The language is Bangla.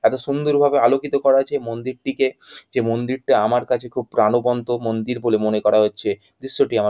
এতো সুন্দরভাবে আলোকিত করা হয়েছে মন্দিরটিকে যে মন্দিরটা আমার কাছে খুব প্রাণবন্ত মন্দির বলে মনে করা হচ্ছে দৃশ্যটা আমার--